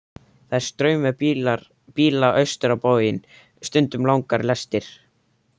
Það er straumur bíla austur á bóginn, stundum langar lestir.